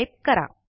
type करा